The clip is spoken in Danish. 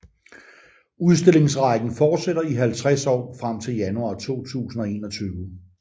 Udstillingsrækken fortsætter i 50 år frem til januar 2021